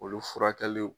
Olu furakɛliw